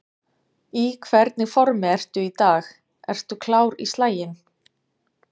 Í hvernig formi ertu í dag, ertu klár í slaginn?